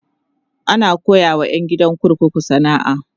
ana koyawa ƴan gidan kurkuku sana'a